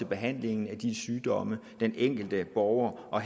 behandlingen af de sygdomme den enkelte borger og